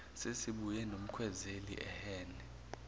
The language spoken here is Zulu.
sesibuye nomkhwezeli ehhene